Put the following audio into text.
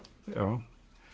já